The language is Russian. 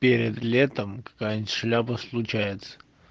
перед летом какая-то шляпа случается